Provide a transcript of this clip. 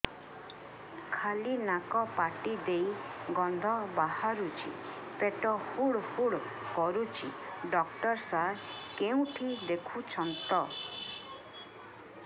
ଖାଲି ନାକ ପାଟି ଦେଇ ଗଂଧ ବାହାରୁଛି ପେଟ ହୁଡ଼ୁ ହୁଡ଼ୁ କରୁଛି ଡକ୍ଟର ସାର କେଉଁଠି ଦେଖୁଛନ୍ତ